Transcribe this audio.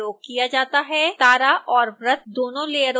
तारा और वृत्त दोनों लेयरों को चुनें